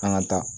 An ka taa